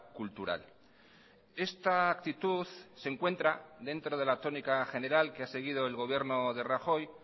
cultural esta actitud se encuentra dentro de la tónica general que ha seguido el gobierno de rajoy